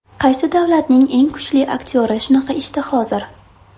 Qaysi davlatning eng kuchli aktyori shunaqa ishda hozir?